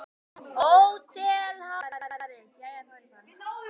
HÓTELHALDARI: Jæja, þá er ég farinn.